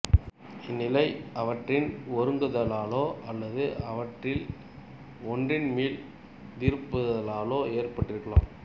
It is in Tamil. இந்நிலை அவற்றின் ஒருங்குதலாலோ அல்லது அவற்றில் ஒன்றின் மீள்திரும்புதலாலோ ஏற்பட்டிருக்கலாம்